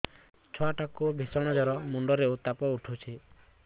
ଛୁଆ ଟା କୁ ଭିଷଣ ଜର ମୁଣ୍ଡ ରେ ଉତ୍ତାପ ଉଠୁଛି